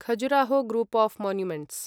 Khajuraho group of monuments